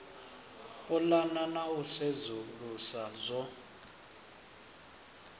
pulana na u sedzulusa zwo